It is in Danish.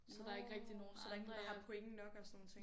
Nårh så der ingen der har point nok og sådan nogle ting